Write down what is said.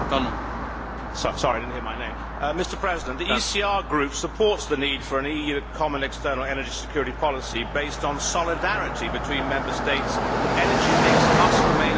Mr President, the ECR Group supports the need for an EU common external energy security policy based on solidarity between Member States, but energy mix must remain a Member State competence.